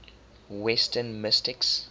western mystics